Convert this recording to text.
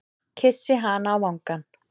Kyssi hana á vangann.